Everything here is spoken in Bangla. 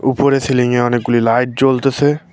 উপরে সিলিংয়ে অনেকগুলি লাইট জ্বলতাছে।